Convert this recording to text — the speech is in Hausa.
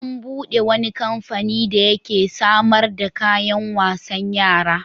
An buɗe wani kamfani da yake samar da kayan wasan yara.